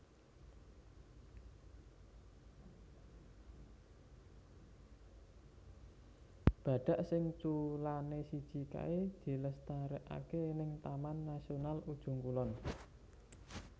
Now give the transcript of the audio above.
Badak sing culane siji kae dilestariake ning Taman Nasional Ujung Kulon